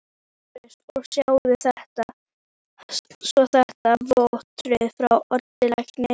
LÁRUS: Og sjáið svo þetta vottorð frá Oddi lækni.